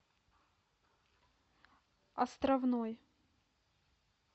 островной